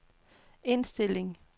indstilling